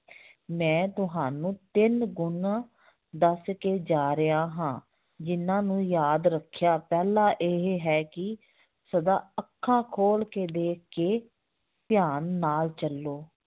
ਮੈਂ ਤੁਹਾਨੂੰ ਤਿੰਨ ਗੁਣ ਦੱਸ ਕੇ ਜਾ ਰਿਹਾ ਹਾਂ ਜਿੰਨਾਂ ਨੂੰ ਯਾਦ ਰੱਖਿਆ, ਪਹਿਲਾ ਇਹ ਹੈ ਕਿ ਸਦਾ ਅੱਖਾਂ ਖੋਲ ਕੇ ਦੇਖ ਕੇ ਧਿਆਨ ਨਾਲ ਚੱਲੋ